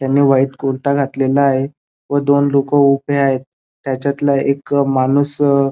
त्यांनी व्हाइट कुर्ता घातलेला आहे व दोन लोक उभे आहेत त्याच्यातला एक माणूस--